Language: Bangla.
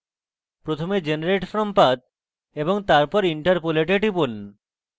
প্রথমে generate from path এবং তারপর interpolate এ টিপুন